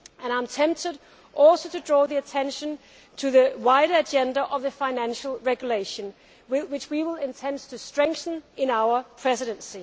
I am tempted also to draw attention to the wider agenda of the Financial Regulation, which we will intend to strengthen in our Presidency.